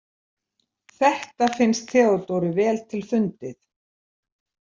Þetta finnst Theodóru vel til fundið.